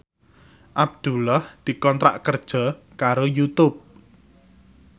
Abdullah dikontrak kerja karo Youtube